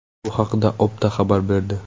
Bu haqda Opta xabar berdi .